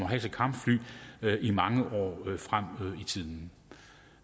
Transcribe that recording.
have til kampfly i mange år frem i tiden